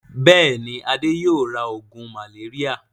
Bẹ́ẹ̀ni, Adé yóò ra oògùn màléríà.